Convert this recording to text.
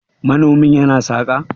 manomi yana saka?